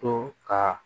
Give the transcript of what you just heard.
To ka